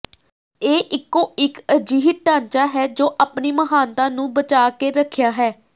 ਇਹ ਇਕੋ ਇਕ ਅਜਿਹੀ ਢਾਂਚਾ ਹੈ ਜੋ ਆਪਣੀ ਮਹਾਨਤਾ ਨੂੰ ਬਚਾ ਕੇ ਰੱਖਿਆ ਹੈ